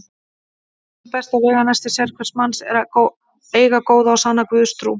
Eitt besta veganesti sérhvers manns er að eiga góða og sanna Guðstrú.